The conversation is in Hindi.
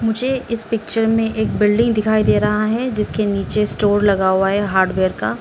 मुझे इस पिक्चर में एक बिल्डिंग दिखाई दे रहा है जिसके नीचे स्टोर लगा हुआ है हार्डवेयर का।